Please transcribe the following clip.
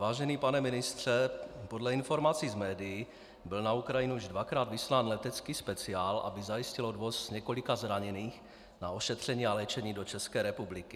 Vážený pane ministře, podle informací z médií byl na Ukrajinu již dvakrát vyslán letecký speciál, aby zajistil odvoz několika zraněných na ošetření a léčení do České republiky.